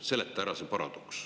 Seleta ära see paradoks.